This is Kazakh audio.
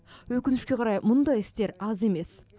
өкінішке қарай мұндай істер аз емес